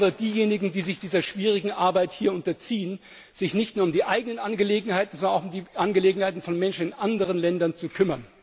Insbesondere diejenigen, die sich dieser schwierigen Arbeit hier unterziehen, sich nicht nur um die eigenen Angelegenheiten, sondern auch um die Angelegenheiten von Menschen in anderen Ländern zu kümmern.